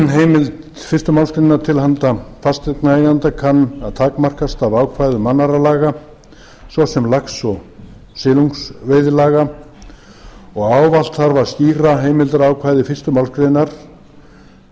heimild fyrstu málsgrein til handa fasteignaeigenda kann að takmarkast af ákvæðum annarra laga svo sem lax og silungsveiðilaga og ávallt þarf að skýra heimildarákvæði fyrstu málsgrein